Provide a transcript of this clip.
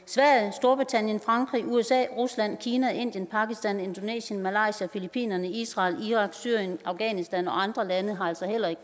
storbritannien frankrig usa rusland kina indien pakistan indonesien malaysia filippinerne israel irak syrien afghanistan og andre lande har altså heller ikke